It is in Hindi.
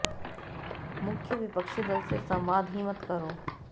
मुख्य विपक्षी दल से संवाद ही मत करो